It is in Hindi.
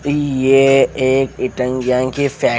ये एक की फेक--